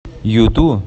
юту